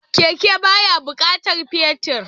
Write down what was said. Keke baya bukatar fetir